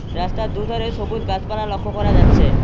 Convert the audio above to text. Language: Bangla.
রাস্তার দুধারে সবুজ গাছপালা লক্ষ করা যাচ্ছে।